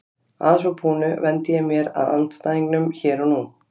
Að svo búnu vendi ég mér að andstæðingunum hér og nú.